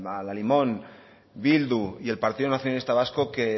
a la limón bildu y el partido nacionalista vasco que